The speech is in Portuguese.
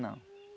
Não.